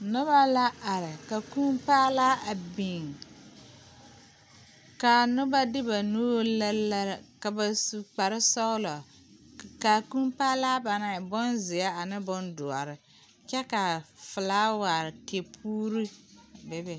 Noba la are ka kûû paa laa a biŋ kaa noba de ba nuure lere lere ka ba mine su kpar sɔgelɔ kaa kûû paa laa ba naŋ e bonzeɛ ane bondoɔre kyɛ kaa felaaware puure be be